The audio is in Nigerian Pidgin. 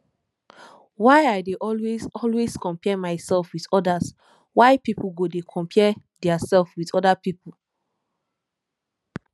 why i dey always always compare myself with odas why pipo go dey compare their sef with oda pipo